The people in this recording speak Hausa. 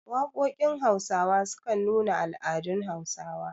Waƙoƙin Hausawa sukan nuna al'adun Hausawa.